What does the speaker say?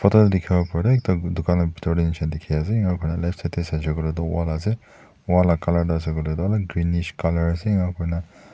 ekta dukan la bitor teh nishina dikhi ase enika kurina left side teh sai she koi leh toh wall ase wall lah colour greenish colour ase enika kurina --